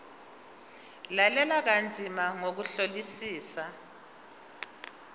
lalela kanzima ngokuhlolisisa